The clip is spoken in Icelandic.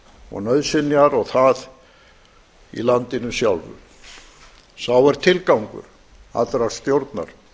og nauðsynjar og það í landinu sjálfu sá er tilgángur allrar stjórnar